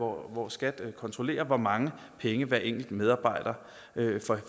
hvor skat kontrollerer hvor mange penge hver enkelt medarbejder